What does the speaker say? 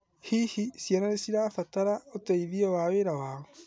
Hihi, ciana nĩ cirabatara ũteithio na wĩra wao?